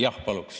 Jah, paluks.